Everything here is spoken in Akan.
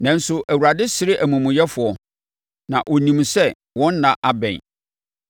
nanso, Awurade sere amumuyɛfoɔ, na ɔnim sɛ wɔn nna abɛn.